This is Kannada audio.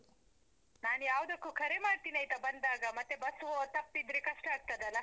ನಾನ್ ಯಾವದಕ್ಕೂ ಕರೆ ಮಾಡ್ತೀನಿ ಆಯ್ತಾ ಬಂದಾಗ, ಮತ್ತೇ bus ತಪ್ಪಿದ್ರೆ ಕಷ್ಟ ಆಗ್ತದಲ್ಲ.